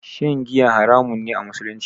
Shan giya haramun ne a musulunci